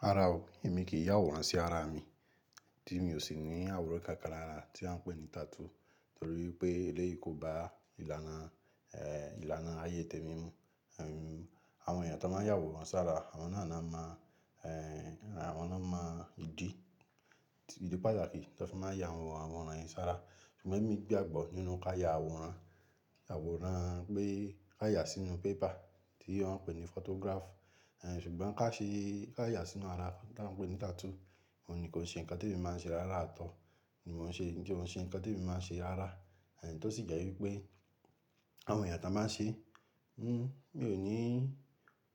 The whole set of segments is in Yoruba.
Rárá o, èmi kì í yàwòrán sí ara mi tí mi ò sì ní àwòrán kákanlára tí wọ́n ń pè ní tattoo torí pé eléyìí kò bá ìlànà, ìlànà ayé tèmi mu. Àwọn èèyàn tó máa ń yàwòrán sára, àwọn náà na ma àwọn na máa di ìdí pàtàkì tó ń fi máa ya àwòn àwòrán yẹn sára. Ṣùgbọ́n ẹ́mi gbàgbọ́ nínú ká ya àwòrán, àwòrán pé ká yà sínú paper tí wọ́n ń pè ní photograph. Ṣùgbọ́n ká ṣe, ká yà sínú ara tí wọ́n ń pè ní tattoo, oun ní kó ṣe nǹkan tí èmi máa ń ṣe rárá at all, mi o n ṣe ko ṣe nǹkan tí èmi máa ń ṣe rárá tó sì jẹ́ wípé àwọn èèyàn tó báa ń ṣe, n mi ò ní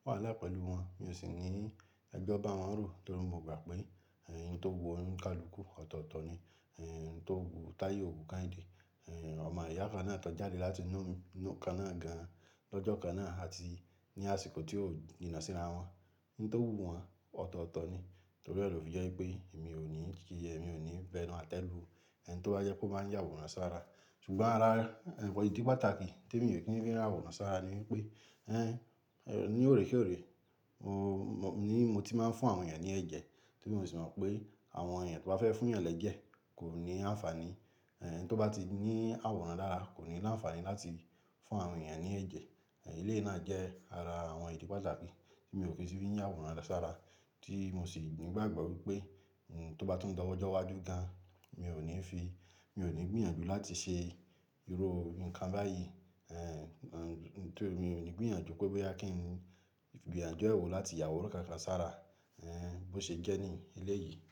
wàhálà pẹ̀lú wọn. Mi ò sì ní ẹjọ ba wọn rò torí mo gbà pé ohun tó wù oníkálùkù ọ̀tọ̀ọ̀tọ̀ ni, ohun tó wù Táye òwù Kehinde. Ọmọ ìyá kan náà tan jáde láti inú inú kan náà gan lọ́jọ́ kan náà àti ní àsìkò tí ó ní jiná síra wọn. Nǹ tó wù wọn ọ̀tọ̀ọ̀tọ̀ ni torí ẹ lo fi jẹ́ wípé èmi ò ní jì yẹ, mi ò ní fẹ́ nu atẹ́lù ẹni tó bá jẹ́ pé ó máa ń yàwòrán sára. Ṣùgbọ́n ara ìdí pàtàkì tí mi ò kí ń fi rí ra wòrán sára ni wípé, ní òrèkè òrè ni mo ti máa ń fún àwọn èèyàn ní ẹ̀jẹ̀ torí mo sì mọ̀ pé àwọn èèyàn tó bá fẹ́ fún èèyàn lẹ̀ jẹ́ kò ní àǹfààní. Ẹni tó bá ti ní àwòrán lára kò ní ní àǹfààní láti fún àwọn èèyàn ní ẹ̀jẹ̀. Eléyìí náà jẹ́ ara àwọn ìdí pàtàkì tí mi ò ki si fi ń yàwòrán sára tí mo sì ni gbàgbọ́ wípé tó bá tún dọwọ́ ìjọ waju gan, mi ò ní fi, mi ò ní gbìyànjú láti ṣe irú nǹkan báyìí. Ní tèmi mi ò ní gbìyànjú pé bóyá kí n gbìyànjú ẹwo láti yàwòrán kákan sára bó ṣe jẹ́ ní eléyìí.